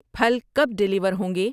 پھل کب ڈیلیور ہوں گے؟